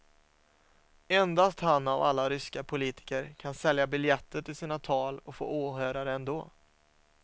Endast han av alla ryska politiker kan sälja biljetter till sina tal och få åhörare ändå.